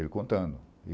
Ele contando.